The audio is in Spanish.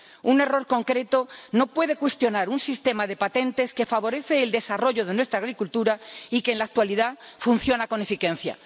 Un error concreto no puede cuestionar un sistema de patentes que favorece el desarrollo de nuestra agricultura y que, en la actualidad, funciona con eficiencia.